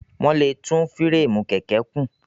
Wọ́n lè tún fúréèmù kẹ̀kẹ́ kùn.